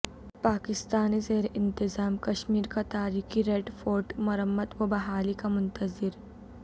پاکستانی زیر انتظام کشمیر کا تاریخی ریڈ فورٹ مرمت و بحالی کا منتظر